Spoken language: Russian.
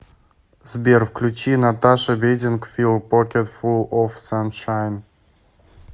сбер включи наташа бедингфилд покетфул оф саншайн